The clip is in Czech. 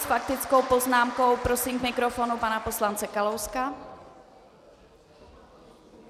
S faktickou poznámkou prosím k mikrofonu pana poslance Kalouska.